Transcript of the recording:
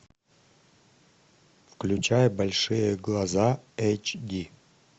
включай большие глаза эйч ди